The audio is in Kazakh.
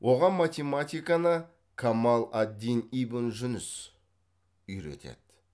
оған математиканы камал ад дин ибн жүніс үйретеді